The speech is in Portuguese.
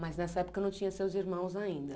Mas nessa época não tinha seus irmãos ainda?